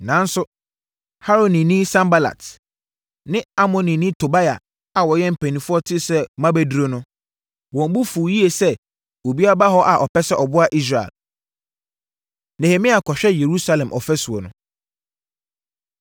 Nanso, Haronini Sanbalat + 2.10 Na Sanbalat yɛ amrado wɔ Samaria. ne Amonni Tobia a wɔyɛ mpanimfoɔ tee sɛ mabɛduru no, wɔn bo fuu yie sɛ obi aba hɔ a ɔpɛ sɛ ɔboa Israel. Nehemia Kɔhwɛ Yerusalem Ɔfasuo No